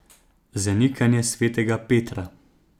Zanikanje svetega Petra.